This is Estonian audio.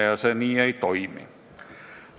Nii see ei toimi.